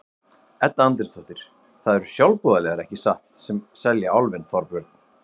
Edda Andrésdóttir: Það eru sjálfboðaliðar, ekki satt, sem selja Álfinn, Þorbjörn?